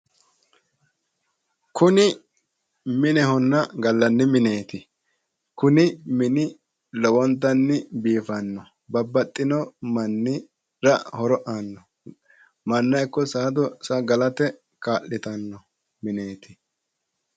Kuni minehonna gallanni mineeti. Kuni mini lowontanni biifanno. Babbaxxino mannira horo aanno. Manna ikko saada galate kaa’litanno mineeti.